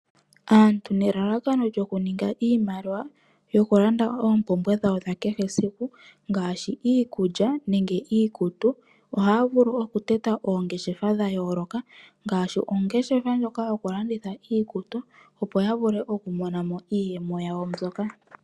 Aantu nelalakono lyo kuninga iimaliwa yoku landa oompumbwe dhawo dha kehe esiku, ngaashi iikulya nenge iikutu ohaya vulu okutota oongeshefa dha yooloka, ngaashi ongeshefa ndjoka yoku landitha iikutu opo yavule okumonamo iiyemo yawo mbyoka.